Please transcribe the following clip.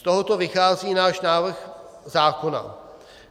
Z tohoto vychází náš návrh zákona.